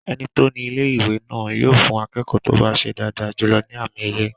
Ẹni tó ní ilé-ìwé náà yóò fún akẹ́kọ̀ọ́ tó bá ṣe dáadáa jùlọ ní àmì ẹ̀yẹ